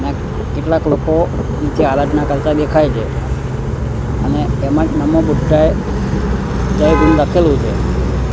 કેટલાક લોકો નીચે આરાધના કરતા દેખાય છે અને એમાજ નમો બુદ્ધાય લખેલું છે.